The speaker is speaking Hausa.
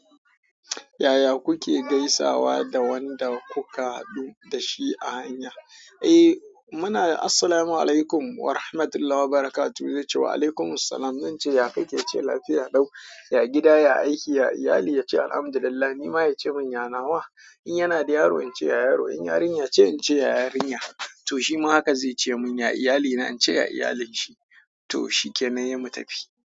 Yaya kuke gaisawa da wanda kuka haɗu da shi a hanya? Eh muna "Assalamu alaikum warahmatullahi wabarakatuh". Zai ce "Waalaikumussalam". Zan ce "Yaya kike?" ya ce "Lafiya lau". "Ya gida? Ya aiki? Ya iyali?" Ya ce "Alhamdulillah". Nima ya ce mun "yana nawa?" In yana da yaro, in ce "Yaya yaron?" In yarinya ce, in ce "Yaya yarinya?" To shima haka zai ce mun "Ya iyalina?", in ce "Ya iyalin shi." To shikenan, sai mu tafi.